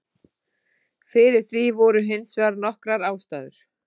Fyrir því voru hins vegar nokkrar ástæður.